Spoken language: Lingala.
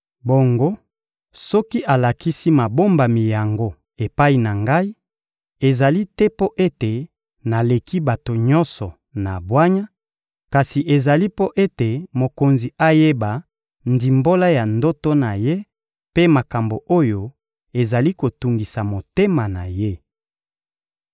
Bongo soki alakisi mabombami yango epai na ngai, ezali te mpo ete naleki bato nyonso na bwanya, kasi ezali mpo ete mokonzi ayeba ndimbola ya ndoto na ye mpe makambo oyo ezali kotungisa motema na ye.